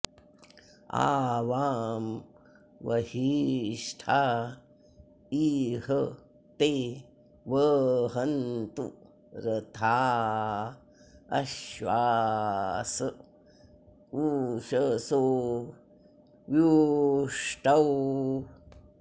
आ वां॒ वहि॑ष्ठा इ॒ह ते व॑हन्तु॒ रथा॒ अश्वा॑स उ॒षसो॒ व्यु॑ष्टौ